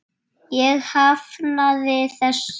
Ég hafnaði þessu.